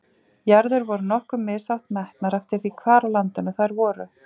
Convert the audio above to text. Jarðir voru nokkuð mishátt metnar eftir því hvar á landinu þær voru.